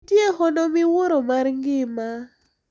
Nitie hono miwuoro mar ngima.